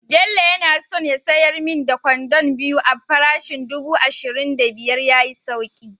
Bello yana son ya sayar min da kwandon biyu a parishin dubu ashirin da biyar ya yi sauki